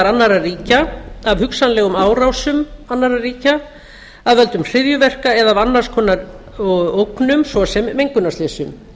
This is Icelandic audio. annarra ríkja af hugsanlegum árásum annarra ríkja af völdum hryðjuverka eða af annars konar ógnum svo sem mengunarslysum